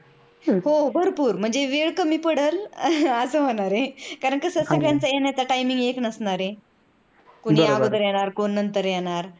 हो भरपूर वेळ कमी पडेल अस होणारआहे कारण कस सगळ्यांचा येण्याचा timing एक नसणार आहे कोण लवकर येणार कोण नंतर येणार.